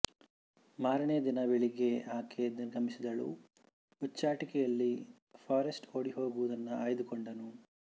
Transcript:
ಮಾರನೇ ದಿನ ಬೆಳಿಗ್ಗೆ ಬೇಗ ಆಕೆ ನಿರ್ಗಮಿಸಿದಳು ಹುಚ್ಚಾಟಿಕೆಯಲ್ಲಿ ಫಾರೆಸ್ಟ್ ಓಡಿ ಹೋಗುವುದನ್ನು ಆಯ್ದುಕೊಂಡನು